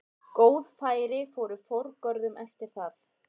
Góð færi fóru forgörðum eftir það.